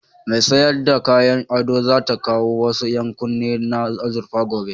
Mai sayar da kayan ado za ta kawo wasu ƴankunne na azurfa gobe.